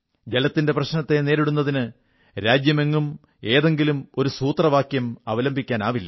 ജലത്തിന്റെ പ്രശ്നത്തെ നേരിടുന്നതിന് രാജ്യമെങ്ങും ഏതെങ്കിലും ഒരു സൂത്രവാക്യം അവലംബിക്കാനാവില്ല